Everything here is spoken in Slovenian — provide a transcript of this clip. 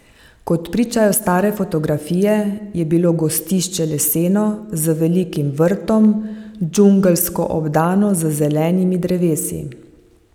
Kot pričajo stare fotografije, je bilo gostišče leseno, z velikim vrtom, džungelsko obdano z zelenimi drevesi.